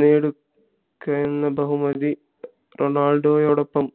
നേടുക യെന്ന ബഹുമതി റൊണാൾഡോയോടൊപ്പം